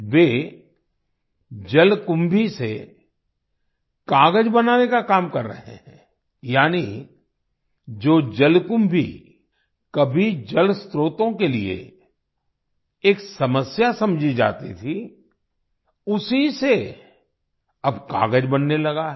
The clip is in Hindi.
वे जलकुंभी से कागज बनाने का काम कर रहे हैं यानी जो जलकुंभी कभी जलस्त्रोतों के लिए एक समस्या समझी जाती थी उसी से अब कागज बनने लगा है